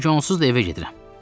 Çünki onsuz da evə gedirəm.